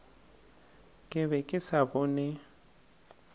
ke be ke sa bone